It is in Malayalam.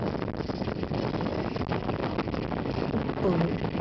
ഉപ്പ്